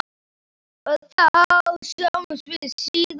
Og þá sjáumst við síðar!